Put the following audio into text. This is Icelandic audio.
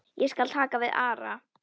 Ég skal taka við Ara.